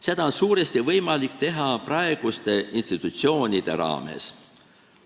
Seda on suuresti võimalik teha praeguste institutsioonide raames.